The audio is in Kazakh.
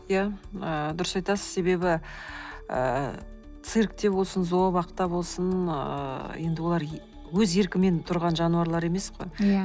ия ыыы дұрыс айтасыз себебі ыыы циркте болсын зообақта болсын ыыы енді олар өз еркімен тұрған жануарлар емес қой иә